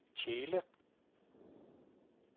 Tjele